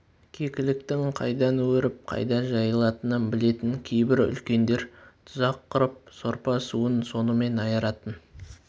кекіліктің қайдан өріп қайда жайылатынын білетін кейбір үлкендер тұзақ құрып сорпа-суын сонымен айыратын